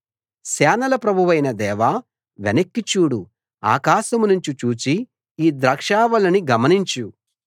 సేనల ప్రభువైన దేవా వెనక్కి చూడు ఆకాశం నుంచి చూచి ఈ ద్రాక్షావల్లిని గమనించు